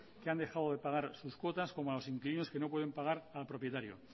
que han dejado de pagar sus cuotas como a los inquilinos que no pueden pagar al propietario